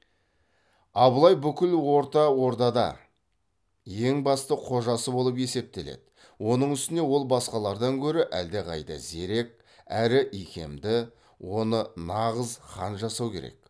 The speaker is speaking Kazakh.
абылай бүкіл орта ордада ең басты қожасы болып есептеледі оның үстіне ол басқалардан гөрі әлдеқайда зерек әрі икемді оны нағыз хан жасау керек